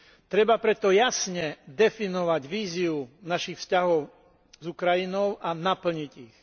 Treba preto jasne definovať víziu našich vzťahov s Ukrajinou a naplniť ich.